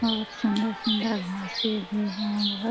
बहोत सुंदर-सुंदर घासे भी है बहो --